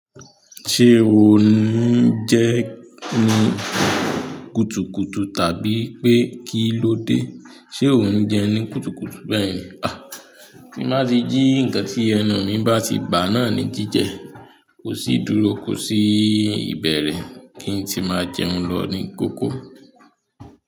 Ṣé o ní jẹ́ ní kùtùkùtù, tàbí pé kí ló dé? Ṣé o ń jẹun ní kùtùkùtù? Bẹ́ẹ̀ ni. Tí má tí jí ǹkan tí ẹnu mi bá ti bà náà ní jíjẹ, kò sí dúró, kò sí ìbẹ̀rẹ̀ kí n tí máa jẹun lọ ní kókó.